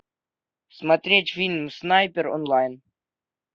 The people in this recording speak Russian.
смотреть фильм снайпер онлайн